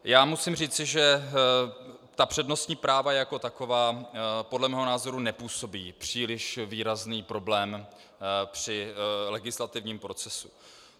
Já musím říci, že ta přednostní práva jako taková podle mého názoru nepůsobí příliš výrazný problém při legislativním procesu.